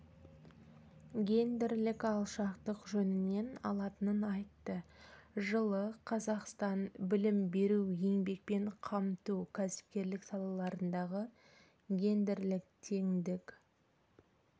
гендерлік алшақтық жөнінен алатынын айтты жылы қазақстан білім беру еңбекпен қамту кәсіпкерлік салаларындағы гендерлік теңдік